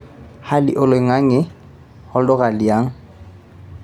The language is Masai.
hali oloinga'ng'e e olduka li ang'